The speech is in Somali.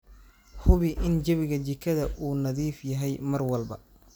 Hubi in jawiga jikada uu nadiif yahay mar walba.